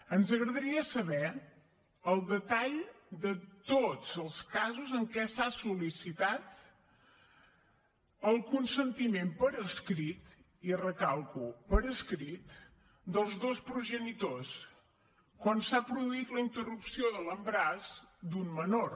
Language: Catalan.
ens agradaria saber el detall de tots els casos en què s’ha sol·licitat el consentiment per escrit i ho recalco per escrit de tots dos progenitors quan s’ha produït la interrupció de l’embaràs d’una menor